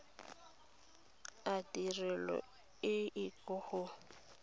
a tirelo e ke go